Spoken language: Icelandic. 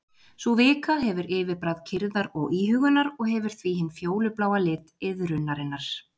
Sú vika hefur yfirbragð kyrrðar og íhugunar og hefur því hinn fjólubláa lit iðrunarinnar.